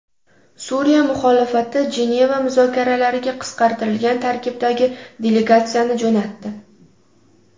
Suriya muxolifati Jeneva muzokaralariga qisqartirilgan tarkibdagi delegatsiyani jo‘natdi.